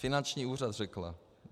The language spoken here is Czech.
Finanční úřad řekla.